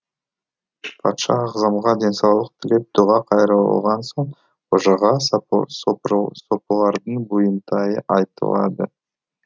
патша ағзамға денсаулық тілеп дұға қайрылған соң қожаға сопылардың бұйымтайы айтылады